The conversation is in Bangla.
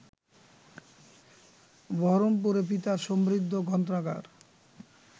বহরমপুরে পিতার সমৃদ্ধ গ্রন্থাগার